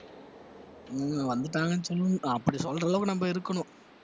இவங்க வந்துட்டாங்கன்னு சொல்ல~ அப்படி சொல்ற அளவுக்கு நம்ம இருக்கணும்